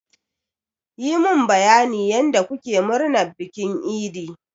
Yi mun bayanin yanda kuke murnar bikin idi!